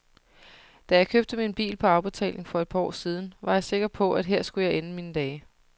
Da jeg købte min bil på afbetaling for et par år siden, var jeg sikker på, at her skulle jeg ende mine dage.